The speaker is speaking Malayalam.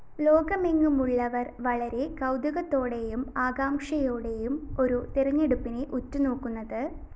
ലോകമെങ്ങുമുള്ളവര്‍ വളരെ കൗതുകത്തോടെയും ആകാംക്ഷയോടെയുമാണ് ഈ തെരഞ്ഞെടുപ്പിനെ ഉറ്റുനോക്കുന്നത്